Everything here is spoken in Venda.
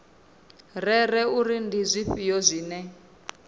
rere uri ndi zwifhio zwine